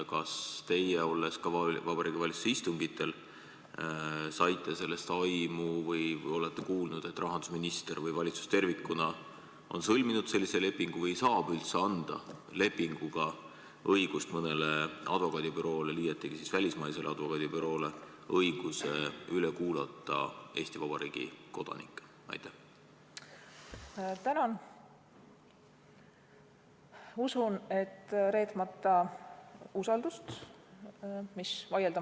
Kas teie, olles olnud ka Vabariigi Valitsuse istungitel, saite sellest aimu või olete kuulnud, et rahandusminister või valitsus tervikuna on sõlminud sellise lepingu või saab üldse anda lepinguga õigust mõnele advokaadibüroole, liiatigi välismaisele advokaadibüroole, üle kuulata Eesti Vabariigi kodanikke?